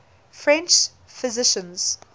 french physicians